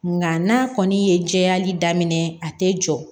Nga n'a kɔni ye jɛyali daminɛ a tɛ jɔ